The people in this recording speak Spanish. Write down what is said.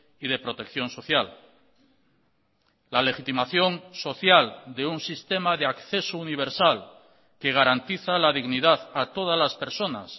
y de protección social la legitimación social de un sistema de acceso universal que garantiza la dignidad a todas las personas